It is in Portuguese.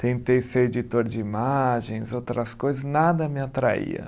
Tentei ser editor de imagens, outras coisas, nada me atraía.